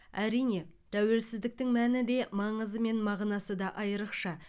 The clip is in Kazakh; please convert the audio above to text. әрине тәуелсіздіктің мәні де маңызы мен мағынасы да айрықша